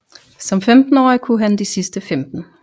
Som femtenårig kunne han de sidste femten